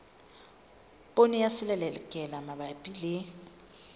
poone ya selelekela mabapi le